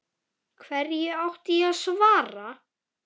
Hverju átti ég að svara.